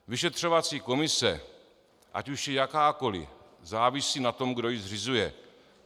Vyšetřovací komise, ať už je jakákoliv, závisí na tom, kdo ji zřizuje.